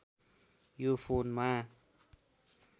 यो फोनमा